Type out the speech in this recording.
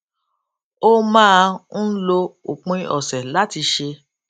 ó máa ń lo òpin òsè láti ṣe